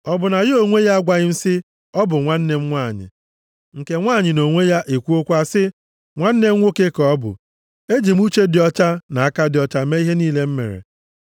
Ọ bụ na ya onwe ya agwaghị m sị, ‘ọ bụ nwanne m nwanyị,’ nke nwanyị nʼonwe ya, ekwuokwa sị, ‘Nwanne m nwoke ka ọ bụ?’ E ji m uche dị ọcha na aka dị ọcha mee ihe niile m mere.”